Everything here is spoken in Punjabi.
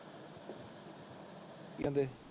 ਕਿ ਕਹਿੰਦੇ?